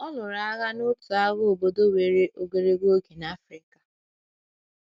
Ọ lụrụ agha n’otu agha obodo were ogologo oge n’Africa.